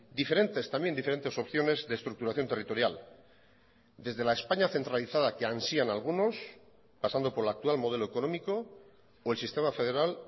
diferentes también diferentes opciones de estructuración territorial desde la españa centralizada que ansían algunos pasando por el actual modelo económico o el sistema federal